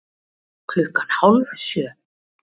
Klukkan hálf sjö